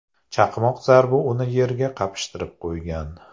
Chaqmoq zarbi uni yerga qapishtirib qo‘ygan.